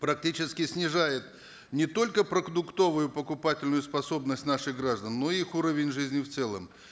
практически снижает не только продуктовую покупательную способность наших граждан но их уровень жизни в целом